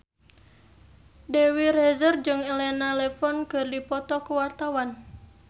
Dewi Rezer jeung Elena Levon keur dipoto ku wartawan